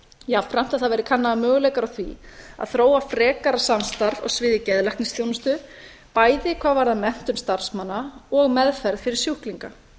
jafnframt að það verði kannaðir möguleikar á því að þróa frekara samstarf á sviði geðlæknisþjónustu bæði hvað varðar menntun starfsmanna og meðferð fyrir sjúklinga